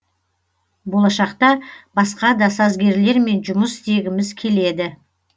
болашақта басқа да сазгерлермен жұмыс істегіміз келеді